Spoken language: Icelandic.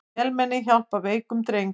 Vélmenni hjálpar veikum dreng